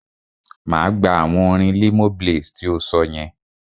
Máa gbà awọn orin Limoblaze ti o sọ yẹn.